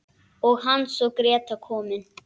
Og Hans og Gréta komin!